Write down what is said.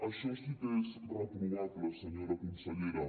això sí que és reprovable senyora consellera